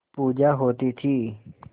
पूजा होती थी